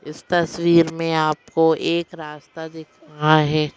इस तस्वीर में आपको एक रास्ता दिख रहा है।